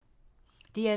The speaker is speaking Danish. DR2